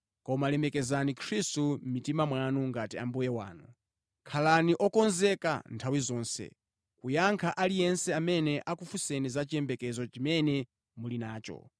Koma lemekezani Khristu mʼmitima mwanu ngati Ambuye wanu. Khalani okonzeka nthawi zonse kuyankha aliyense amene akufunsani za chiyembekezo chimene muli nacho.